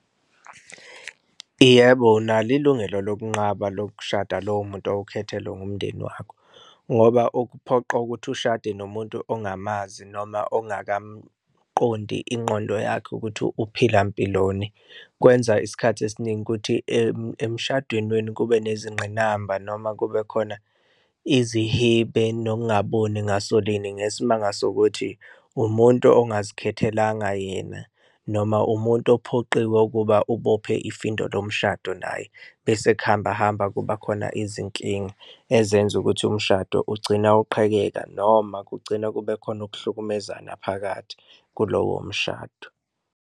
Yebo, unalo ilungelo lokunqaba lokushada lowo muntu owukhethelwe umndeni wakho ngoba ukuphoqa ukuthi ushade nomuntu ongamazi noma ongakamqondi ingqondo yakhe ukuthi uphila mpiloni. Kwenza isikhathi esiningi ukuthi emshadweni wenu kube nezingqinamba noma kube khona izihibe nokungaboni ngasolinye ngesimanga sokuthi umuntu ongazikhethelanga yena noma umuntu uphoqiwe ukuba ubophe ifindo lomshado naye. Bese kuhamba hamba kuba khona izinkinga ezenza ukuthi umshado ugcina uqhekeka noma kugcina kube khona ukuhlukumezana phakathi kulowo mshado.